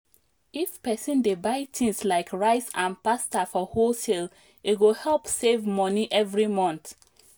if person dey buy things like rice and pasta for wholesale e go help save money every month.